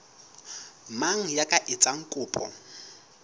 mang ya ka etsang kopo